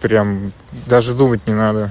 прям даже думать не надо